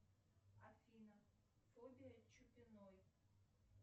афина фобия чупиной